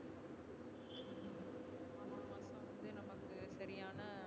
சரியான